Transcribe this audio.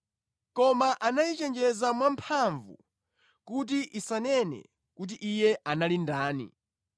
Koma anayichenjeza mwamphamvu kuti isanene kuti Iye anali ndani.